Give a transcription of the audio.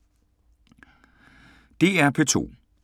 DR P2